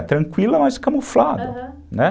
Tranquila, mas camuflada, né? Aham.